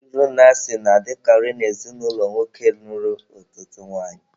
Iro na asị na-adịkara na ezinụlọ nwoke nụrụ ọtụtụ nwanyị.